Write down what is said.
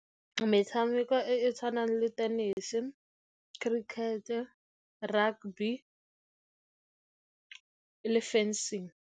Metšhameko e e tshwanang le tenese, cricket-e, rugby le fencing.